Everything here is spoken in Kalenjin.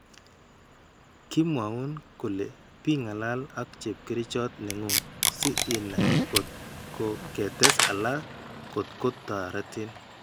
Ki mwaun kole pi ng'alal ak chepkerchot ne ng'ung' si inai kot ko ketes alak kot ko toretin.